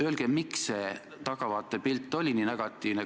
Öelge, miks see tahavaatepilt on olnud nii negatiivne.